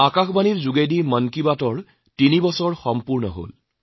আকাশবাণীৰ জৰিয়তে মন কী বাত অনুষ্ঠান কৰি কৰি তিনি বছৰ সম্পূৰ্ণ হল